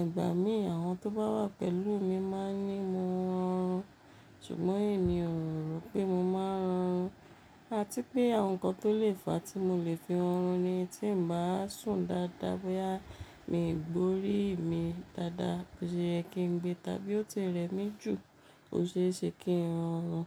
igbà mí àwọn tó bá wà pẹ̀lú mi máa ní mo ń rọrùn ṣùgbọ́n èmi o rò pé mo máa ń rọrùn. Àti pé àwọn nǹkan tó lè fàá tí mo lè fi rọrùn ni tí n bá sùn dáadáa bóyá mi gbe orí mi dáadáa, bóyá ẹkín gbé tàbí ó ti rẹ mí jù o ṣe é ṣe kí n oọrùn.